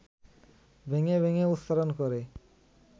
ভেঙে ভেঙে উচ্চারণ করে